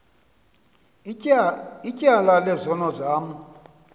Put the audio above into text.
ityala lezono zam